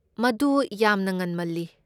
ꯃꯗꯨ ꯌꯥꯝꯅ ꯉꯟꯃꯜꯂꯤ꯫